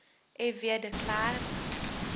fw de klerk